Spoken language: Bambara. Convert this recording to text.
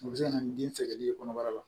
O bɛ se ka na ni den sɛgɛnli ye kɔnɔbara la